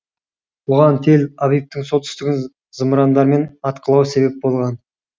бұған тель авивтің солтүстігін зымырандармен атқылау себеп болған